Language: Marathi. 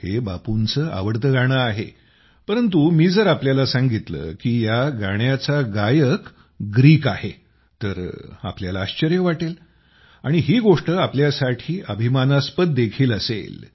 हे बापूंचं आवडतं गाणं आहे परंतु मी जर तुम्हाला सांगितले की या गाण्याचा गायक ग्रीक आहे तर तुम्हाला आश्चर्य वाटेल आणि ही गोष्ट तुमच्यासाठी अभिमानास्पद देखील असेल